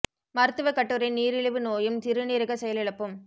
மருத்துவக் கட்டுரை நீரிழிவு நோயும் சிறுநீரகச் செயலிழப்பும்